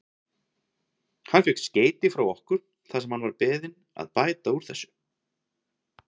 Hann fékk skeyti frá okkur þar sem hann var beðinn að bæta úr þessu.